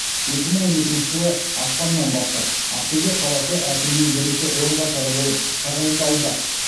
екі мың он екінші жылы ақпаннан бастап ақтөбе қаласы әкімінің бірінші орынбасары болып тағайындалды